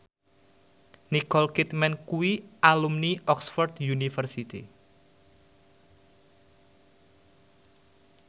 Nicole Kidman kuwi alumni Oxford university